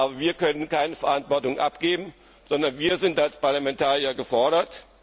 Kauf. Aber wir können keine Verantwortung abgeben, sondern wir sind als Parlamentarier gefordert.